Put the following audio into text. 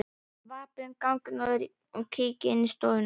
Vappa um ganginn og kíki inn í stofur.